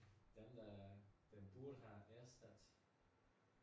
Dem der den burde have erstattet